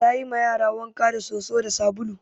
Ta yi ma yara wanka da soso da sabulu